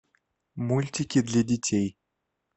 мультики для детей